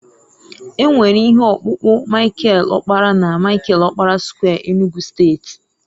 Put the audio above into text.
e nwere ihe ọkpụkpụ Michael okpara na Michael okpara square Enugu steeti